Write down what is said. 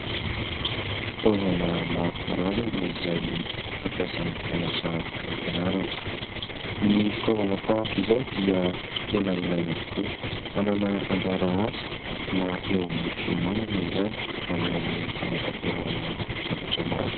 Fitaovana maro karazana izay fampiasan'ny mpianatra any ampianarana. Ny fitaovana tahaka izao dia tena ilaina tokoa, manana anjara asa na eo amin'ny fihomanana izany na eo amin'ny fanatanterahana zavatra maro.